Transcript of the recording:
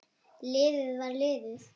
Liðið var liðið.